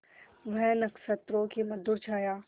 वह नक्षत्रों की मधुर छाया